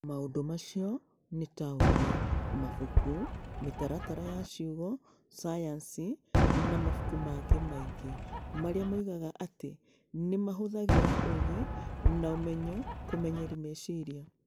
Maũndũ macio nĩ ta ũũgĩ, mabuku, mĩtaratara ya ciugo, sayansi, na mabuku mangĩ maingĩ, marĩa moigaga atĩ nĩ mahũthagĩra ũũgĩ na ũmenyo kũmenyeria meciria.